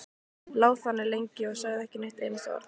Lá þannig lengi og sagði ekki eitt einasta orð.